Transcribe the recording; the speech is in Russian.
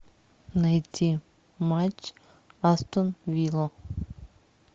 найти матч астон вилла